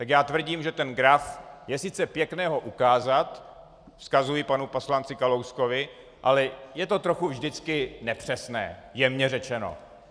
Tak já tvrdím, že ten graf - je sice pěkné ho ukázat, vzkazuji panu poslanci Kalouskovi, ale je to trochu vždycky nepřesné, jemně řečeno.